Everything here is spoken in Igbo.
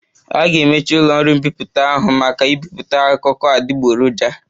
A ga-emechi ụlọ ọrụ mbipụta ahụ maka ibipụta akụkọ adịgboroja